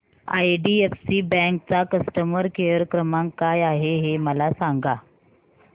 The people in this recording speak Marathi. आयडीएफसी बँक चा कस्टमर केयर क्रमांक काय आहे हे मला सांगा